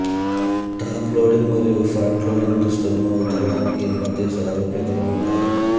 top loading మరియు front loading దుస్తులను ఉతకడానికి మధ్య సారూప్యతలు ఉన్నాయి